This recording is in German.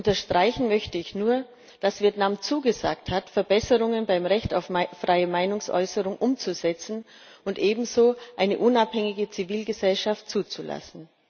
Unterstreichen möchte ich nur, dass Vietnam zugesagt hat, Verbesserungen beim Recht auf freie Meinungsäußerung umzusetzen und ebenso eine unabhängige Zivilgesellschaft zuzulassen.